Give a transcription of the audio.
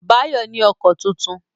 Báyọ̀ ní ọkọ tuntun